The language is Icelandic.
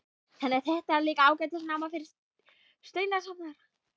Þannig að þetta er líka ágætis náma fyrir steinasafnara?